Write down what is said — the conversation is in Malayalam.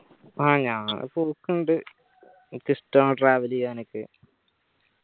ആ ഞാൻ പോക്കിണ്ട് എനിക്ക് ഇഷ്ടാണ് travel ചെയ്യാനൊക്കെ